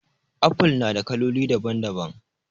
Apple na da kaloli daban daban